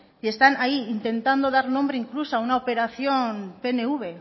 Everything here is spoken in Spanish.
y están ahí intentando dar nombre incluso a una operación pnv